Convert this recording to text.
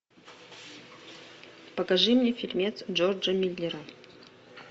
покажи мне фильмец джорджа миллера